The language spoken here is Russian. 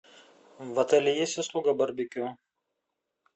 в отеле есть услуга барбекю